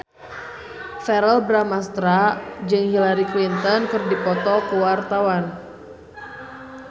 Verrell Bramastra jeung Hillary Clinton keur dipoto ku wartawan